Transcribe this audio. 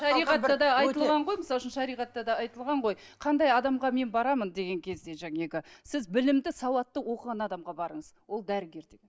шариғатта да айтылған ғой мысал үшін шариғатта да айтылған ғой қандай адамға мен барамын деген кезде жаңағы сіз білімді сауатты оқыған адамға барыңыз ол дәрігер деп